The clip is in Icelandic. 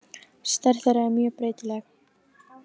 Stærð þeirra er mjög breytileg.